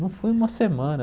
Não fui uma semana.